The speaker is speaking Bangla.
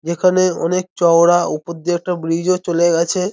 যেখানে অনেক চওড়া উপর দিয়ে একটা ব্রিজও চলে গেছে।